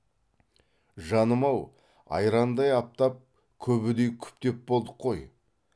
жаным ау айрандай аптап күбідей күптеп болдық қой